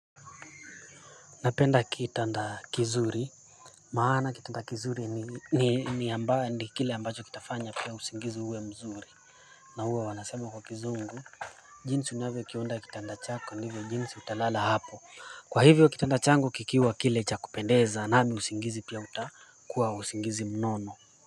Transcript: Napenda kitanda kizuri maana kitanda kizuri ni kile ambacho kitafanya pia usingizi uwe mzuri na huwa wanasema kwa kizungu jinsi unavyokiunda kitanda chako ndivyo jinsi utalala hapo kwa hivyo kitanda changu kikiwa kile cha kupendeza nami usingizi pia utakuwa pia utakuwa usingizi mnono.